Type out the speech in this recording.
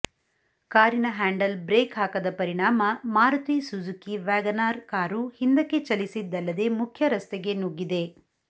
ಕಾರಿನ handle brake ಹಾಕದ ಪರಿಣಾಮ Maruti Suzuki wagon R car ಹಿಂದಕ್ಕೆ ಚಲಿಸಿದಲ್ಲದೇ ಮುಖ್ಯ ರಸ್ತೆಗೆ ನುಗ್ಗಿದೆ